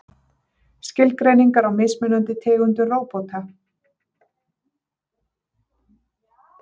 skilgreiningar á mismunandi tegundum róbóta